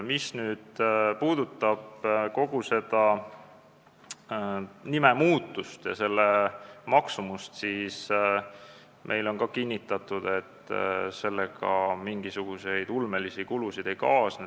Mis puudutab nimemuutust ja selle maksumust, siis meile on kinnitatud, et sellega ulmelisi kulusid ei kaasne.